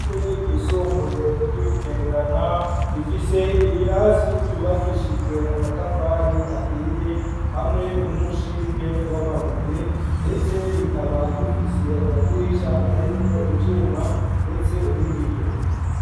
Ishure ryisumbuye ry'ibugendana rifise ibirasi vyubakishijwe amatafari ahiye hamwe n'umushinge w'amabuye ndetse bikaba bifise amadirisha arimwo ivyuma ndetse n'ibiyo.